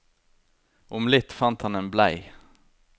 Om litt fant han en blei.